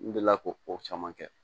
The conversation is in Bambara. N delila k'o ko caman kɛ